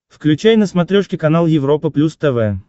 включай на смотрешке канал европа плюс тв